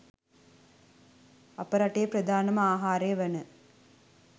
අප රටේ ප්‍රධානම ආහාරය වන